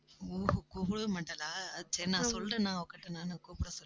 ஓ ஓ கூப்பிடவே மாட்டாளா சரி நான் சொல்றேன்னா அவ கிட்ட நானும் கூப்பிட சொல்லி